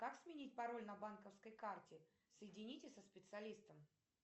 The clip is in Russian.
как сменить пароль на банковской карте соедините со специалистом